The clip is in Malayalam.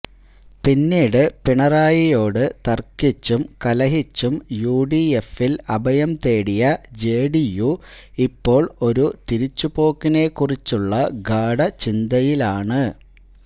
പിന്നീട് പിണറായിയോട് തര്ക്കിച്ചും കലഹിച്ചും യുഡിഎഫില് അഭയം തേടിയ ജെഡിയു ഇപ്പോള് ഒരു തിരിച്ചു പോക്കിനെ കുറിച്ചുള്ള ഗാഢ ചിന്തയിലാണ്